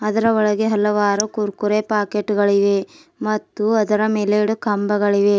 ಅದರ ಒಳಗೆ ಹಲವಾರು ಕುರುಕುರೆ ಪಾಕೆಟ್ಗ ಳು ಇವೆ ಮತ್ತು ಅದರ ಮೇಲೆ ಎರಡು ಕಂಬಗಳಿವೆ.